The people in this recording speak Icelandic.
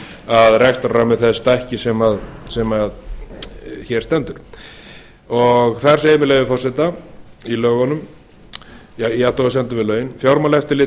að rekstrarrammi þess stækki sem hér stendur þar segir með leyfi forseta í athugasemdum við lögin fjármálaeftirlitið